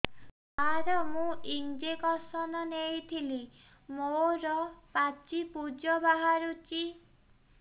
ସାର ମୁଁ ଇଂଜେକସନ ନେଇଥିଲି ମୋରୋ ପାଚି ପୂଜ ବାହାରୁଚି